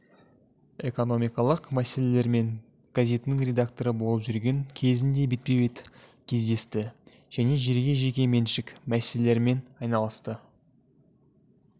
экономикалық мәселелермен газетінің редакторы болып жүрген кезінде бетпе-бет кездесті және жерге жеке меншік мәселелерімен айналысты